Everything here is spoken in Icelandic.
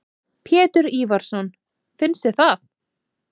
Pétur Ívarsson: Finnst þér það?